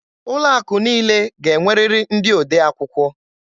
Ụlọ akụ niile ga-enwerịrị ndị odee akwụkwọ.